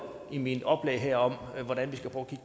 i mit oplæg her om